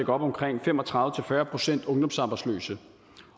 op omkring fem og tredive til fyrre procent ungdomsarbejdsløse